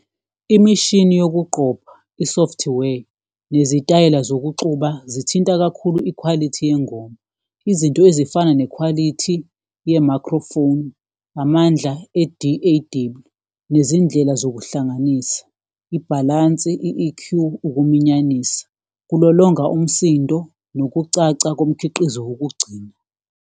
Imishini yokuqopha i-software nezitayela zokuxuba zithinta kakhulu ikhwalithi yengoma, izinto ezifana nekhwalithi ye-microphone, amandla , nezindlela zokuhlanganisa, ibhalansi i-E_Q ukuminyanisa kulolonga umsindo nokucaca komkhiqizo wokugcina.